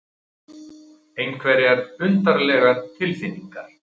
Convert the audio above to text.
Einhverjar undarlegar tilfinningar.